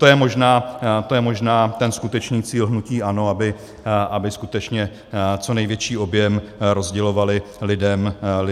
To je možná ten skutečný cíl hnutí ANO, aby skutečně co největší objem rozdělovali lidem za ně.